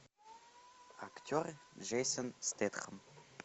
актер джейсон стэтхем